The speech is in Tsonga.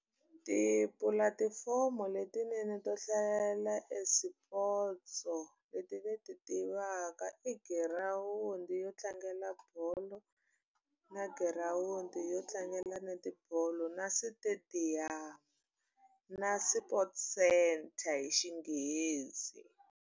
Tipulatifomo letinene to hlalela e swipotso leti ni ti tivaka i girawundi yo tlangela bolo, na girawundi yo tlangela netibolo, na switediyamu, na sport centre hi xinghezi.